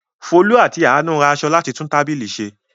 Folú àti Àánú ra ìṣó láti fi tún tábìlì ṣe.